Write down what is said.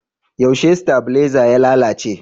Yaushe stabiaiza ya lalace?